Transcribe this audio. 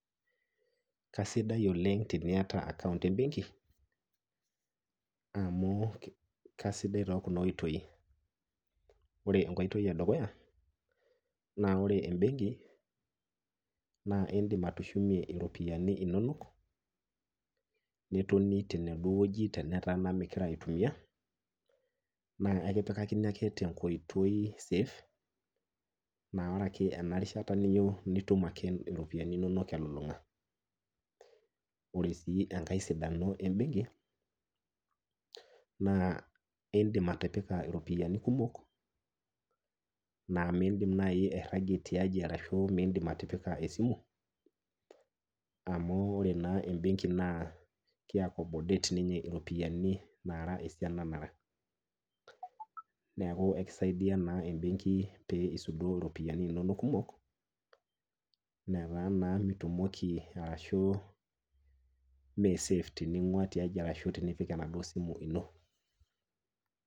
Kasidai oleng' teniata account embenki amu kasidai tookuna oitoi ; ore enkoitoi edukuya, naa ore embenki naa indim atushumie iropiyani inonok netoni tenaduo wueji tenetaa naa migira aitumia naa aikipikakini ake tenkoitoi safe naa ore ake enarishata niyou nitum ake iropiyani inonok elulung'a. Ore sii engai sidano embenki naa indim atipika iropiyani kumok naa mindim nai airragie tiaji arashu miindim atipika esimu amu ore naa embenki naa keakomodet ninye iropiyani naara esiana nara. Neaku ekisaidia naa embenki pee isudoo iropiyani inonok kumok netaa naa mitumiki arashu mee safe tining'ua tiaji arashu tinipik enaduo simu ino.